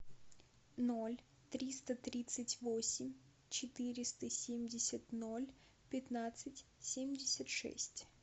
ноль триста тридцать восемь четыреста семьдесят ноль пятнадцать семьдесят шесть